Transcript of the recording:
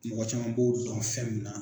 Mɔgɔ caman b'o dɔn fɛn min na.